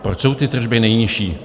Proč jsou ty tržby nejnižší?